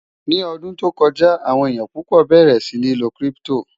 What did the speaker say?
ní ọdún tó kọjá, àwọn èyán púpò bẹrẹ sí ní ló kírìpitò